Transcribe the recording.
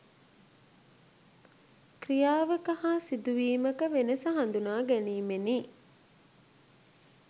ක්‍රියාවක හා සිදුවීමක වෙනස හඳුනා ගැනීමෙනි.